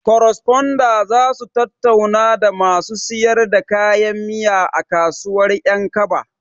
Koresponda zasu tattauna da masu siyar da kayan miya a kasuwar ƴankaba